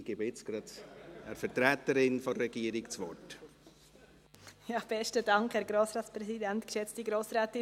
Ich gebe jetzt gleich einer Vertreterin der Regierung das Wort.